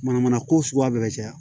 Manamana ko suguya bɛɛ bɛ ca